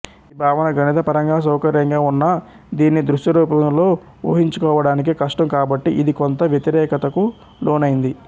ఈ భావన గణిత పరంగా సౌకర్యంగా ఉన్నా దీన్ని దృశ్యరూపంలో ఊహించుకోవడానికి కష్టం కాబట్టి ఇది కొంత వ్యతిరేకతకు లోనైంది